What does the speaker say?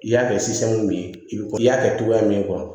I y'a kɛ min ye i bi ko i y'a kɛ cogoya min